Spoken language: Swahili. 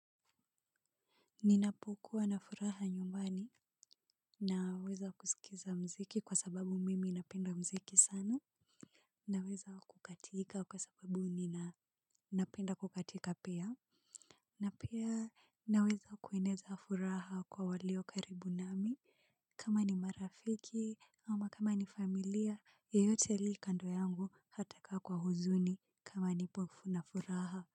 Ninapokuwa na furaha nyumbani na weza kusikiza mziki kwa sababu mimi napenda mziki sana. Na weza kukatika kwa sababu nina napenda kukatika pia. Na pia na weza kueneza furaha kwa walio karibu nami. Kama ni marafiki ama kama ni familia yeyote aliyekando yangu hata kaa kwa huzuni kama nipofu na furaha.